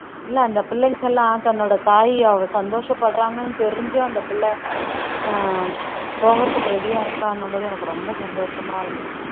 இல்லை அந்த பிள்ளைங்க எல்லாம் தன்னோட தாய் அவ சந்தோஷப்படுறாங்கன்னு தெரிஞ்சும் அந்த பிள்ளை ஆஹ் போகுறதுக்கு ready ஆ இருக்கான்னும்போது எனக்கு ரொம்ப சந்தோஷமா இருந்தது